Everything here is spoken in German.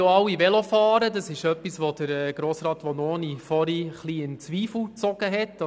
Vanoni hat vorhin etwas in Zweifel gezogen, dass alle Velo fahren können.